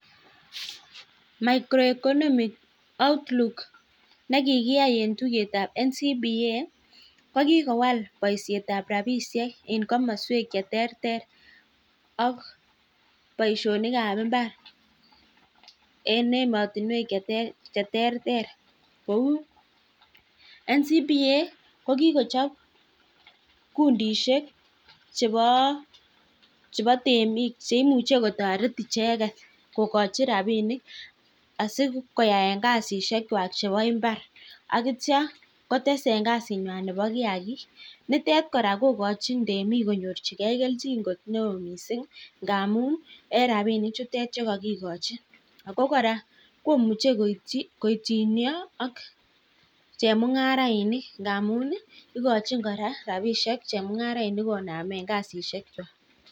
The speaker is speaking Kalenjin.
(micro-economy outlook) nekikiyai eng tuyet ab NCPA kokikowal baishet ab rabishek ak baishonik ab imbar kouu kikochop kundishek chepoo temik chepo rabinik sikowai kasit nywaa neboo mbar